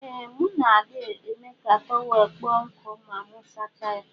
Ee mu na adi eme ka tọwel kpụọ nkụ ma mu sacha ya.